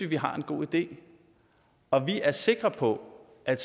vi har en god idé og vi er sikre på at